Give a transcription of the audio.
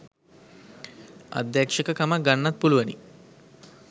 අධ්‍යක්ෂක කමක් ගන්නත් පුළුවනි.